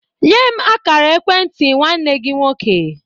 Nye m a kara ekwentị nwanne gi nwọke